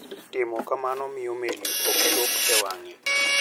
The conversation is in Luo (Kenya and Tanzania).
Timo kamano miyo meli ok chop e wang'e.